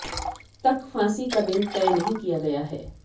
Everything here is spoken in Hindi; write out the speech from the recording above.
तक फांसी का दिन तय नहीं किया गया है